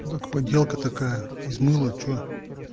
так поделка такая из мыла что